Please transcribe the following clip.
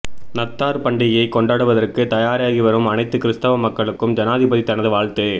நத்தார் பண்டிகையை கொண்டாடுவதற்கு தயாராகிவரும் அனைத்து கிறிஸ்தவ மக்களுக்கும் ஜனாதிபதி தனது வாழ்த்து